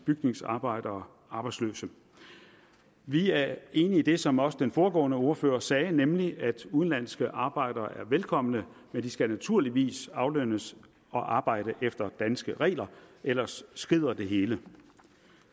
bygningsarbejdere arbejdsløse vi er enige i det som også den foregående ordfører sagde nemlig at udenlandske arbejdere er velkomne men de skal naturligvis aflønnes og arbejde efter danske regler ellers skrider det hele